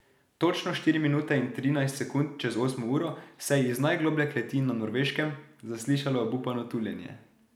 Točno štiri minute in trinajst sekund čez osmo uro se je iz najgloblje kleti na Norveškem zaslišalo obupano tuljenje.